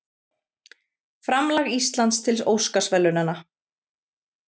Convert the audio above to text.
Framlag Íslands til Óskarsverðlaunanna